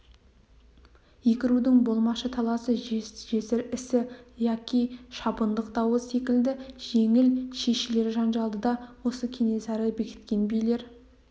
екі рудың болмашы таласы жесір ісі яки шабындық дауы секілді жеңіл шешілер жанжалды да осы кенесары бекіткен билер